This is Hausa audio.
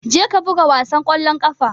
Je ka buga wasan kwallon kafa!